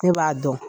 Ne b'a dɔn